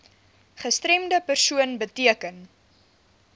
gestremde persoon beteken